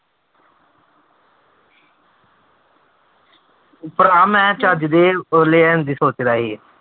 ਭਰਾ ਮੈਂ ਚੱਜਦੇ ਉਹ ਲੈਣ ਦੇ ਸੋਚਦਾ ਸੀ।